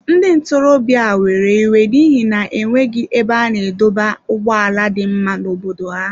Ndị ntorobịa a were iwe n’ihi na e nweghị ebe a na-adọba ụgbọala dị mma n’obodo ha.